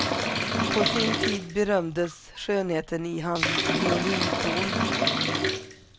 På sin tid berömdes skönheten i hans violinton.